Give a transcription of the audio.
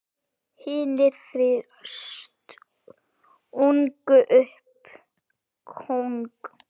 Hinir þrír stungu upp kóng.